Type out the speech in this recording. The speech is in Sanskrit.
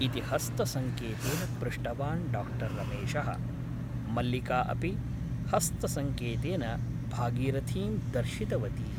इति हस्तसङ्केतेन पृष्टवान् डा रमेशः । मल्लिका अपि हस्तसङ्केतेन भागीरथीं दर्शित वती ।